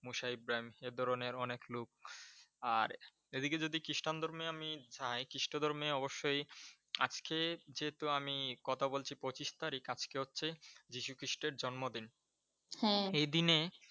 মোসা ইব্রাহিম ধরনের অনেক লোক আর, এদিকে যদি খ্রিষ্টান ধর্মে আমি যাই খ্রিষ্ট ধর্মে অবশ্যই আজকে যেহেতু আমি কথা বলছি পঁচিশ তারিখ আজকে হচ্ছে যীশু খ্রিষ্টের জন্মদিন। এই দিনে